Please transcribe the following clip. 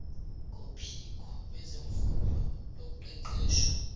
kophiko lwezemfundo loqeqesho